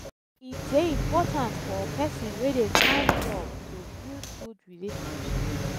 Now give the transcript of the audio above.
e de important for persin wey de find job to build good relationships